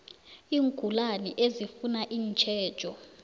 iingulani ezifuna itjhejo